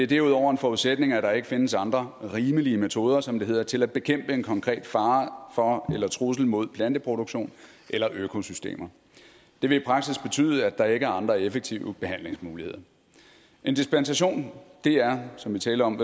derudover en forudsætning at der ikke findes andre rimelige metoder som det hedder til at bekæmpe en konkret fare for eller trussel mod planteproduktion eller økosystemer det vil i praksis betyde at der ikke er andre effektive behandlingsmuligheder en dispensation er som vi talte om